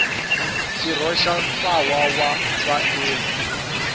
xirho xa ntlawa wa vaendli